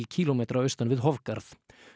kílómetra austan við